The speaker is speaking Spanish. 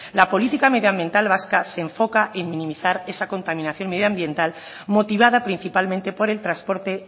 la política medioambiental vasca se enfoca en minimizar esa contaminación medioambiental motivada principalmente por el transporte